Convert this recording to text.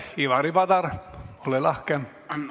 Ivari Padar, ole lahke!